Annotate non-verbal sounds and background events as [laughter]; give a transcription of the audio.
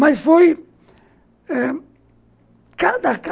Mas foi eh cada [unintelligible]